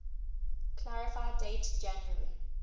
clarify date january